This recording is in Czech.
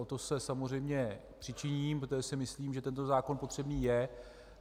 O to se samozřejmě přičiním, protože si myslím, že tento zákon potřebný je.